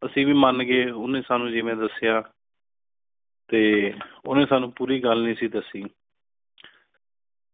ਤੁਸੀਂ ਵੀ ਮੰਨ ਗਏ ਉਹਨੇ ਸਾਨੂੰ ****** ਜਿਂਵੇ ਦੱਸਿਆ ਤੇ ਉਨ੍ਹੇ ਸਾਂਨੂੰ ਪੂਰੀ ਗੱਲ ਨਹੀਂ ਸੀ ਦੱਸੀ